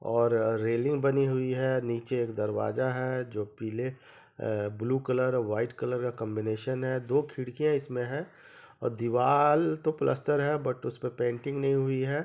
और रेलिंग बनी हुई है निचे एक दरवाज़ा है जोकि पीले ए ब्लू कलर वाइट कलर का कॉम्बिनेशन है दो खिड़कियां इसमें है और दिवार तो पलस्टर है बट उसमे पेंटिंग नही हुई है।